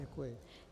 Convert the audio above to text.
Děkuji.